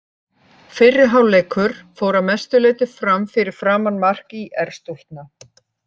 Fyrri hálfleikur fór að mestu leiti fram fyrir framan mark ÍR-stúlkna.